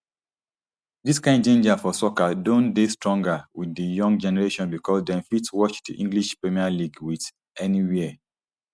dis kain ginger for soccer don dey stronger wit di young generation bicos dem fit watch di english premier league wit anywia